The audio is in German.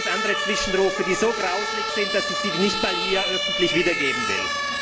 hören hier noch ganz andere Zwischenrufe, die so grauslig sind, dass ich sie hier nicht öffentlich wiedergeben will.